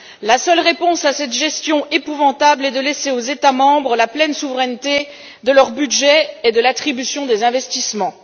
La seule réponse à cette gestion épouvantable est de laisser aux États membres la pleine souveraineté concernant leur budget et l'attribution des investissements.